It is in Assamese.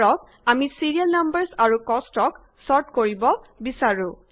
ধৰক আমি ছিৰিয়েল নাম্বাৰচ আৰু কষ্টক ছৰ্ট কৰিব বিচাৰো